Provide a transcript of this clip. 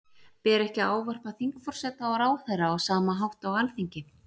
Ber ekki að ávarpa þingforseta og ráðherra á sama hátt á Alþingi?